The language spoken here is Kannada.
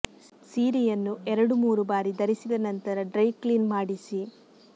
ಸೀರೆಯನ್ನು ಎರಡು ಮೂರು ಬಾರಿ ಧರಿಸಿದ ನಂತರ ಡ್ರೈ ಕ್ಲೀನ್ ಮಾಡಿಸಿ